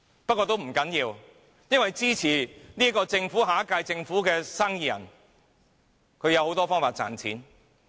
不過，這並不要緊，因為支持下屆政府的生意人有很多方法賺錢。